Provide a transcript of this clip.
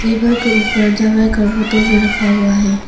Table के ऊपर दवाई का बोतल भी रखा हुआ है।